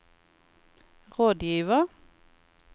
rådgiver